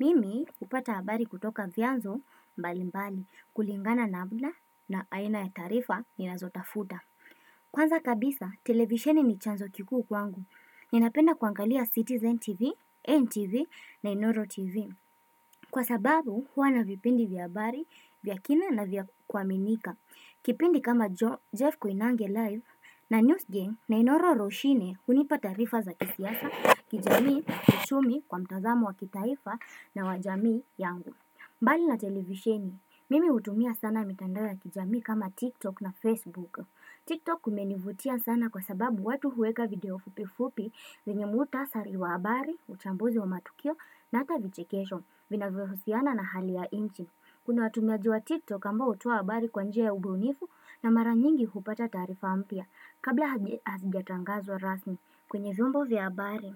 Mimi hupata habari kutoka vyanzo mbalimbali kulingana na bla na aina ya taarifa ninazotafuta. Kwanza kabisa, televisheni ni chanzo kikuu kwangu. Ninapenda kuangalia Citizen TV, NTV na Inoro TV. Kwa sababu, huwa na vipindi vya habari, vya kina na vya kuaminika. Kipindi kama Jeff Koinange live na News Game na Inoro Roshine hunipa tarifa za kisiasa, kijamii, kiuchumi kwa mtazamo wa kitaifa na wa jamii yangu mbali na televisheni, mimi hutumia sana mitandao ya kijamii kama TikTok na Facebook Tiktok kumenivutia sana kwa sababu watu huweka video fupi fupi zenye muhtasari wa habari, uchambuzi wa matukio na ata vichekesho vinavyohusiana na hali ya nchi Kuna watu najua TikTok ambao hutoa habari kwa njia ya ubunifu na mara nyingi hupata taarifa mpya Kabla hazijatangazwa rasmi kwenye vyombo vya habari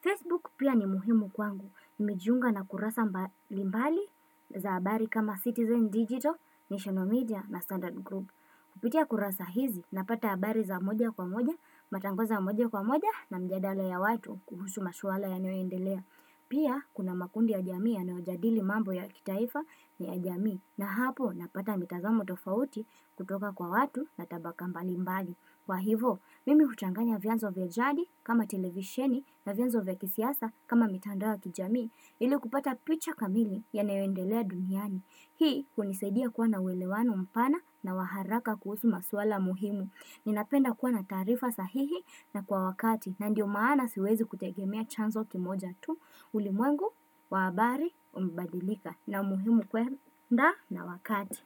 Facebook pia ni muhimu kwangu Nimejiunga na kurasa mbalimbali za habari kama Citizen Digital, National Media na Standard group Kupitia kurasa hizi napata habari za moja kwa moja matangazo ya moja kwa moja na mijadala ya watu kuhusu mashuala yanayoendelea Pia kuna makundi ya jami yanayojadili mambo ya kitaifa na ya jamii na hapo napata mitazamo tofauti kutoka kwa watu na tabaka mbalimbali kwa hivo, mimi huchanganya vyanzo vya jadi kama televisheni na vyanzo vya kisiasa kama mitandao ya kijamii ili kupata picha kamili yanayoendelea duniani. Hii hunisaidia kuwa na uwelewano mpana na wa haraka kuhusu maswala muhimu. Ninapenda kuwa na taarifa sahihi na kwa wakati na ndio maana siwezi kutegemea chanzo kimoja tu. Ulimwengu, wa habari, umebadilika na muhimu kwe nda na wakati.